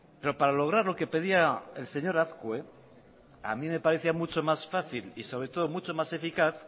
pero para lograr lo que pedía el señor azkue a mí me parecía mucha más fácil y sobre todo mucho más eficaz